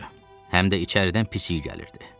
Həm də içəridən pis iy gəlirdi.